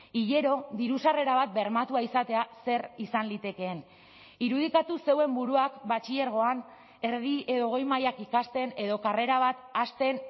hilero diru sarrera bat bermatua izatea zer izan litekeen irudikatu zeuen buruak batxilergoan erdi edo goi mailak ikasten edo karrera bat hasten